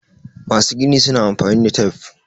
masu gini suna amfani da tif